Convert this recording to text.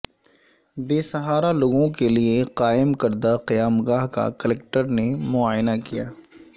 بے سہارا لوگوں کیلئے قائم کردہ قیامگاہ کا کلکٹر نے معائنہ کیا